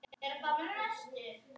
En hvað segir kærastinn?